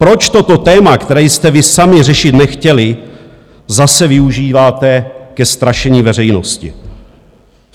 Proč toto téma, které jste vy sami řešit nechtěli, zase využíváte ke strašení veřejnosti?